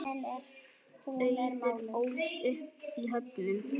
Auður ólst upp í Höfnum.